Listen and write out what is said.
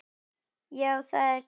Já, það var gaman!